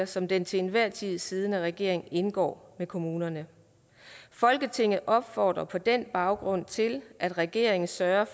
som den til enhver tid siddende regering indgår med kommunerne folketinget opfordrer på den baggrund til at regeringen søger